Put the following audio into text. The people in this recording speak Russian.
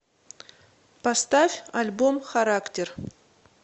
поставь альбом характер